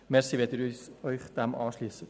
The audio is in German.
Danke, wenn Sie sich dem anschliessen.